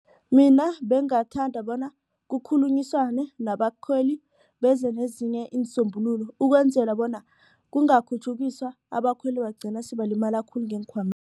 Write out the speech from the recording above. Mina bengingathanda bona kukhulunyiswane nabakhweli beze nezinye iinsombululo ukwenzela bona kungakhutjhukiswa abakhweli bagcine sebalimele khulu